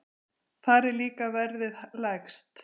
Þar er líka verðið lægst.